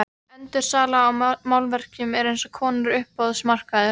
Endursala á málverkum er eins konar uppboðsmarkaður.